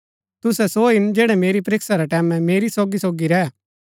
तुसै सो हिन जैड़ै मेरी परीक्षा रै टैमैं मेरी सोगीसोगी रैह